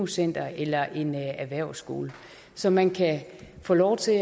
center eller en erhvervsskole så man kan få lov til